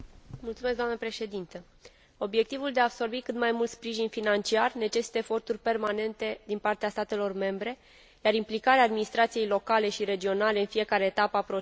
Obiectivul de a absorbi cât mai mult sprijin financiar necesită eforturi permanente din partea statelor membre, iar implicarea administrației locale și regionale în fiecare etapă a procesului este esențială.